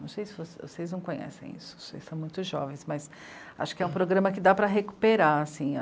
Não sei se vocês conhecem isso, vocês são muito jovens, mas acho que é um programa que dá para recuperar, assim.